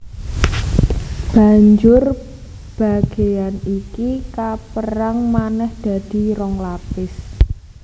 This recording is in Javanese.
Banjur bagéan iki kapérang manèh dadi rong lapis